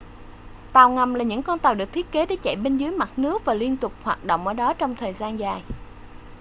tàu ngầm là những con tàu được thiết kế để chạy bên dưới mặt nước và liên tục hoạt động ở đó trong thời gian dài